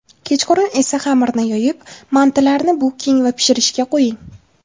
Kechqurun esa xamirni yoyib, mantilarni buking va pishirishga qo‘ying.